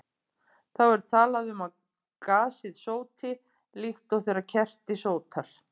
Þá er talað um að gasið sóti, líkt og þegar kerti sótar.